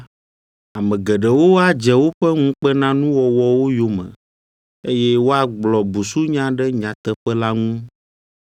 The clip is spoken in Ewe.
Ame geɖewo adze woƒe ŋukpenanuwɔwɔwo yome eye woagblɔ busunya ɖe nyateƒe la ŋu.